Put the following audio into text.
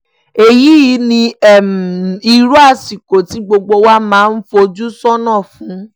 èyí ni irú àsìkò tí gbogbo wa máa ń fojú sọ́nà fún